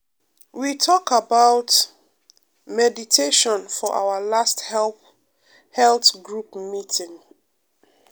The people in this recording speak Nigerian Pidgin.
we talk about um meditation for our last health group meeting.